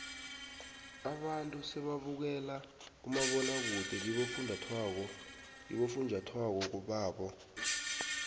abantu sebabukela umabonwakude kibofunjathwako babo